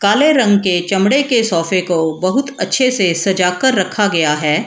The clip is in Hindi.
काले रंग के चमड़े के सौफे को बहुत अच्छे से सजा के रखा गया है।